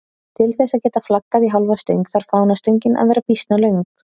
Til þess að geta flaggað í hálfa stöng þarf fánastöngin að vera býsna löng.